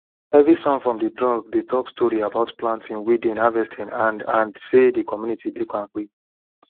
every sound from the drum dey talk story about planting weeding harvesting and and say the community dey kampe